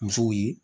Musow ye